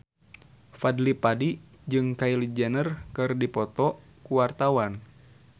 Fadly Padi jeung Kylie Jenner keur dipoto ku wartawan